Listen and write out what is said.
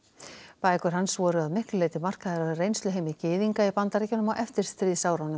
bækur hans voru að miklu leyti markaðar af reynsluheimi gyðinga í Bandaríkjunum á eftirstríðsárunum